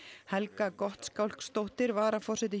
Helga Gottskálksdóttir varaforseti